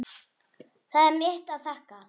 Það er mitt að þakka.